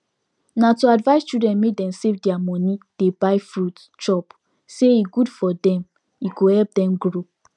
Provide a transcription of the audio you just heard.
nah to advise children make dem save deir money dey buy fruit chop say e good for dem e go help dem grow